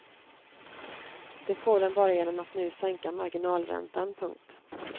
Det får den bara genom att nu sänka marginalräntan. punkt